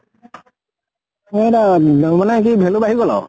সেইটো আৰু অম মানে কি value বাঢ়ি গল আৰু।